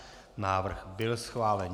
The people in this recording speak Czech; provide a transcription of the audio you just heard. Návrh byl schválen.